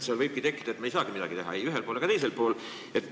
Nii võibki tekkida olukord, et me ei saa midagi teha ei ühel pool ega teisel pool.